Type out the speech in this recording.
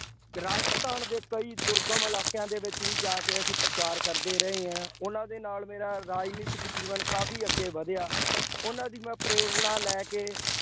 ਰਾਜਸਥਾਨ ਦੇ ਕਈ ਦੁਰਗਮ ਇਲਾਕਿਆਂ ਦੇ ਵਿੱਚ ਵੀ ਜਾ ਕੇ ਅਸੀਂ ਪ੍ਰਚਾਰ ਕਰਦੇ ਰਹੇ ਹਾਂ। ਉਹਨਾ ਦੇ ਨਾਲ ਮੇਰਾ ਰਾਜਨੀਤਿਕ ਜੀਵਨ ਕਾਫੀ ਅੱਗੇ ਵਧਿਆ। ਉਹਨਾ ਦੀ ਮੈਂ ਪ੍ਰੇਰਨਾ ਲੈ ਕੇ